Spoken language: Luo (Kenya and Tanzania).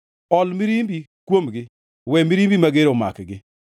Ol mirimbi kuomgi; we mirimbi mager omakgi.